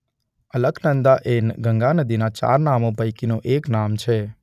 અલકનંદા એ ગંગા નદીનાં ચાર નામો પૈકીનું એક નામ છે.